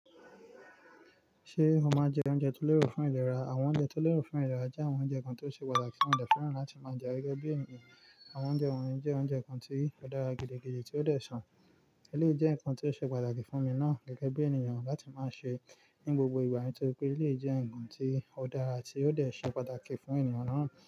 Ṣé o máa ń jẹ oúnjẹ tó lérò fún ìlera? Àwọn oúnjẹ tó lérò fún ìlera jẹ́ àwọn oúnjẹ kan tó ṣe pàtàkì fún mo dè fẹ́ràn láti máa jẹ gẹ́gẹ́ bí ènìyàn. Àwọn oúnjẹ wọ̀nyí jẹ́ oúnjẹ kan tí ó dára gidi, gidi tí ó dè ṣàn. Eléyìí jẹ́ nǹkan tí ó ṣe pàtàkì fún mi náà gẹ́gẹ́ bí ènìyàn láti máa ṣe ní gbogbo ìgbà nítorí pé eléyìí jẹ́ nǹkan tí ó dára tí ó ṣe pàtàkì fún ènìyàn náà.